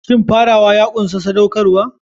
Shin farawa ya ƙunshi saɗaukarwa?